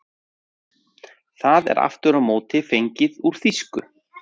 Það er aftur á móti fengið úr þýsku.